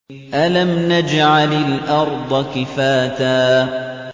أَلَمْ نَجْعَلِ الْأَرْضَ كِفَاتًا